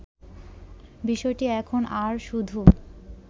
বিষয়টি এখন আর শুধু